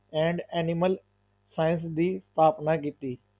And animal science ਦੀ ਸਥਾਪਨਾ ਕੀਤੀ।